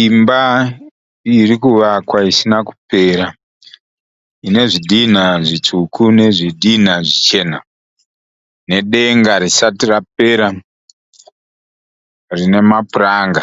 Imba iri kuvakwa isina kupera, ine zvidhinha zvitsvuku nezvidhina zvichena, nedenga risati rapera rine mapuranga,